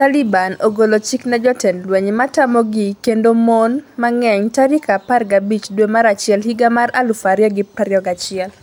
Taliban ogolo chik ne jotend lweny matamogi kendo mon mang'eny tarik 15 dwe mar achiel higa mar 2021